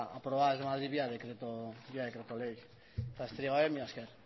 aprobada vía decreto ley eta besterik gabe mila esker